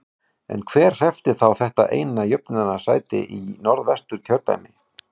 En hver hreppti þá þetta eina jöfnunarsæti í Norðvesturkjördæmi?